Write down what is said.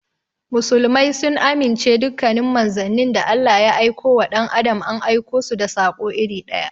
Muslmai sun amince dukkanin manzannin da Allah ya aikowa dan adam an aikosu da sako iri ɗaya.